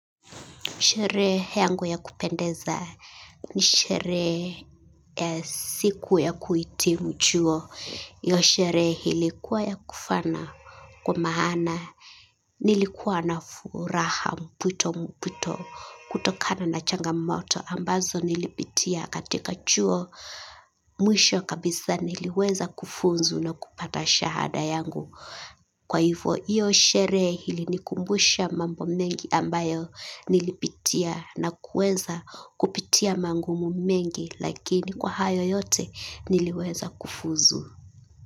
Sherehe yangu ya kupendeza ni sherehe ya siku ya kuitimu chuo. Hiyo sherehe ilikuwa ya kufana kwa maana nilikuwa na furaha mputo mputo kutokana na changamoto ambazo nilipitia katika chuo mwisho kabisa niliweza kufuzu na kupata shahada yangu. Kwa hivo hiyo sherehe ilinikumbusha mambo mengi ambayo nilipitia na kuweza kupitia magumu mengi lakini kwa hayo yote niliweza kufuzu.